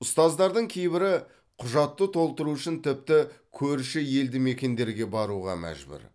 ұстаздардың кейбірі құжатты толтыру үшін тіпті көрші елдімекендерге баруға мәжбүр